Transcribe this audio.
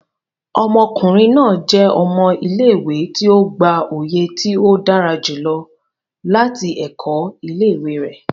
Ọmọkunrin naa jẹ ọmọ ile-iwe ti o gba oye ti o dara julọ lati ẹkọ ile-iwe re